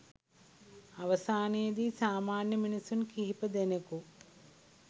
අවසානයේදී සාමාන්‍ය මිනිසුන් කිහිප දෙනෙකු